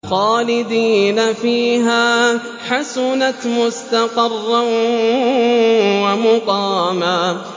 خَالِدِينَ فِيهَا ۚ حَسُنَتْ مُسْتَقَرًّا وَمُقَامًا